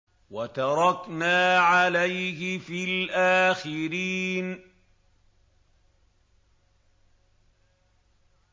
وَتَرَكْنَا عَلَيْهِ فِي الْآخِرِينَ